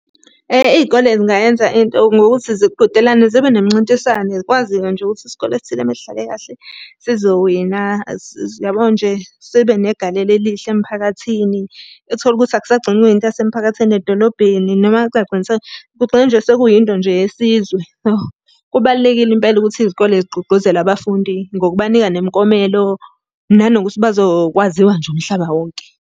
Iy'kole zingayenza into ngokuthi ziqhudelane zibe nemincintiswane kwaziwe nje ukuthi isikole esithile uma sidlale kahle sizowina, yabo nje sibe negalelo elihle emphakathini. Uthole ukuthi akusagcini kuyinto yasemphakathini edolobheni noma kungagcini , kugcine sekuyinto nje yesizwe . Kubalulekile impela ukuthi izikole zigqugquzele abafundi ngokubanika nemiklomelo, nanokuthi bazokwaziwa nje umhlaba wonke.